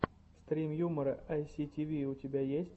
стрим юмора айситиви у тебя есть